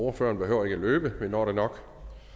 ordføreren behøver ikke at løbe vi når det nok